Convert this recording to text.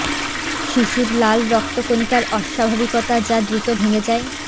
শিশুর লাল রক্ত কণিকার অস্বাভাবিকতা যা দ্রুত ভেঙে যায়